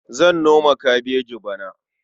Zan noma kabeji bana.